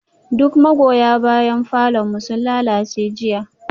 Duk magoya bayan falon mu sun lalace jiya